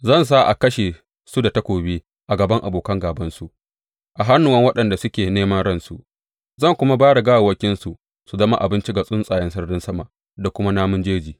Zan sa a kashe su da takobi a gaban abokan gābansu, a hannuwan waɗanda suke neman ransu, zan kuma ba da gawawwakinsu su zama abinci ga tsuntsayen sararin sama da kuma namun jeji.